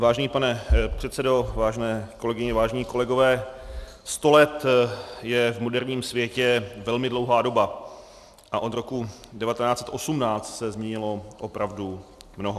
Vážený pane předsedo, vážené kolegyně, vážení kolegové, sto let je v moderním světě velmi dlouhá doba a od roku 1918 se změnilo opravdu mnoho.